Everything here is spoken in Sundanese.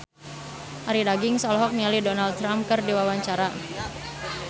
Arie Daginks olohok ningali Donald Trump keur diwawancara